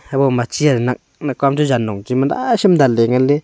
habo ma chair nak nak kua jan nong chima naisham danle nganle.